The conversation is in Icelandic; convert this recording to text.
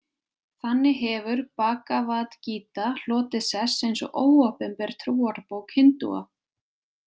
Þannig hefur Bhagavad-Gita hlotið sess eins og óopinber trúarbók Hindúa.